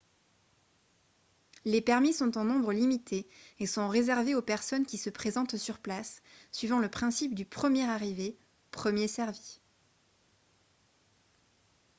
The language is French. les permis sont en nombre limité et sont réservés aux personnes qui se présentent sur place suivant le principe du premier arrivé premier servi